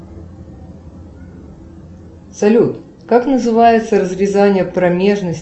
салют как называется разрезание промежности